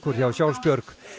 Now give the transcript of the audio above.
hjá Sjálfsbjörg